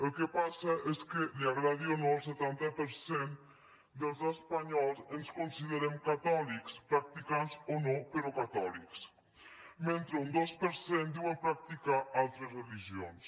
el que passa és que li agradi o no el setanta per cent dels espanyols ens considerem catòlics practicants o no però catòlics mentre que un dos per cent diuen practicar altres religions